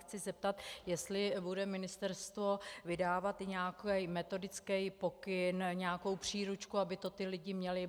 Chci zeptat, jestli bude ministerstvo vydávat nějaký metodický pokyn, nějakou příručku, aby to ti lidé měli.